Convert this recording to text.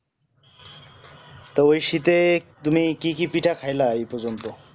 তো ওই শীতে তুমি কি কি পিঠা খাইলা ওই পযন্ত